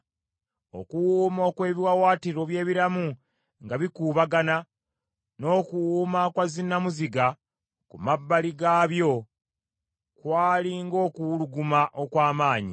Okuwuuma okw’ebiwaawaatiro by’ebiramu nga bikuubagana, n’okuwuuma kwa zinnamuziga ku mabbali gaabyo kwali ng’okuwuluguma okw’amaanyi.